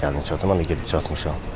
Gəlin çatdırım, mən də gedib çatmışam.